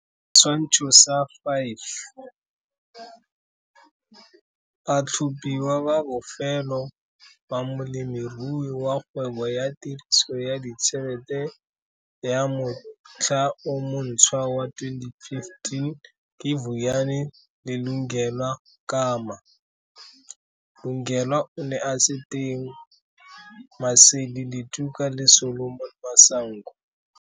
Setshwantsho sa 5 - Batlhophiwa ba bofelo ba Molemirui wa Kgwebo ya Tiriso ya Ditšhelete ya Motlha o Monthswa wa 2015 ke Vuyani le Lungelwa Kama, Lungelwa o ne a se teng, Maseli Letuka le Solomon Masango.